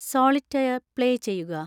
solitaire play ചെയ്യുക